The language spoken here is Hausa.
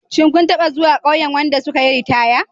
Shin kun taɓa zuwa ƙauyen wadda suka yi ritaya?